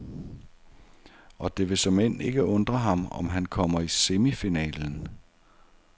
Og det vil såmænd ikke undre ham, om han kommer i semifinalen.